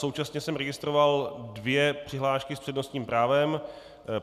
Současně jsem registroval dvě přihlášky s přednostním právem.